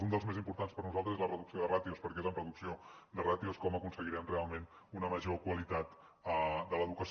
un dels més importants per nosaltres és la reducció de ràtios perquè és amb reducció de ràtios com aconseguirem realment una major qualitat de l’educació